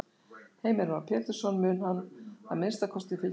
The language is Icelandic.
Heimir Már Pétursson: Mun hann að minnsta kosti fylgja verðlagi?